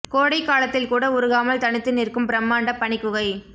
கோடை காலத்தில் கூட உருகாமல் தனித்து நிற்கும் பிரம்மாண்ட பனி குகை